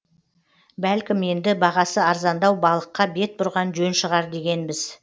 бәлкім енді бағасы арзандау балыққа бет бұрған жөн шығар дегенбіз